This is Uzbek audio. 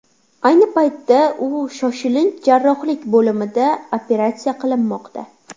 Ayni paytda u shoshilinch jarrohlik bo‘limida operatsiya qilinmoqda.